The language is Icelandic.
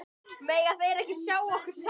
Mega þeir ekki sjá okkur saman?